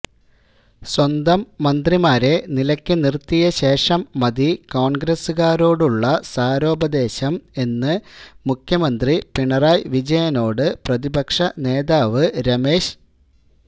സ്വന്തം മന്ത്രിമാരെ നിലയ്ക്ക് നിർത്തിയ ശേഷം മതി കോൺഗ്രസുകാരോടുള്ള സാരോപദേശം എന്ന് മുഖ്യമന്ത്രി പിണറായി വിജയനോട് പ്രതിപക്ഷ നേതാവ് രമേശ്